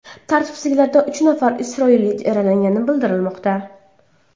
Tartibsizliklarda uch nafar isroillik yaralangani bildirilmoqda.